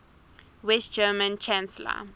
west german chancellor